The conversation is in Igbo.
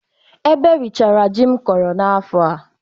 Ebe richara ji m kọrọ n'afọ a.